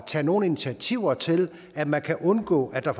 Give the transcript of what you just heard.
tage nogle initiativer til at man kan undgå at der